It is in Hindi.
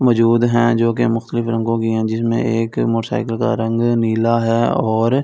मौजूद है जो की रंगों की है जिसमें एक मोटरसाइकिल का रंग नीला है और--